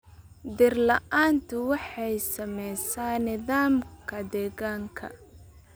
Dhir la'aantu waxay saamaysaa nidaamka deegaanka.